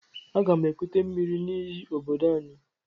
Aga m ekute miri n'íyí obodo anyị.